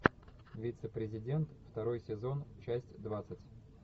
вице президент второй сезон часть двадцать